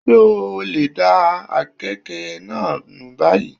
Ṣé o lè da àkekèé náà nù báyìí?